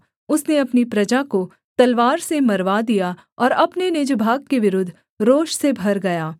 उसने अपनी प्रजा को तलवार से मरवा दिया और अपने निज भाग के विरुद्ध रोष से भर गया